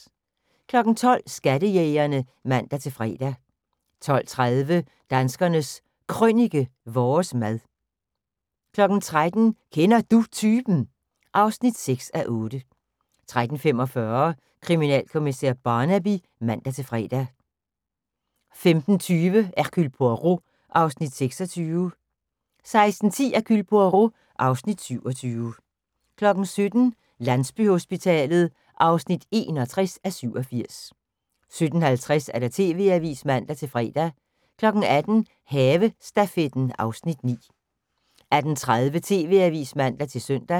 12:00: Skattejægerne (man-fre) 12:30: Danskernes Krønike - vores mad 13:00: Kender Du Typen? (6:8) 13:45: Kriminalkommissær Barnaby (man-fre) 15:20: Hercule Poirot (Afs. 26) 16:10: Hercule Poirot (Afs. 27) 17:00: Landsbyhospitalet (61:87) 17:50: TV-avisen (man-fre) 18:00: Havestafetten (Afs. 9) 18:30: TV-avisen (man-søn)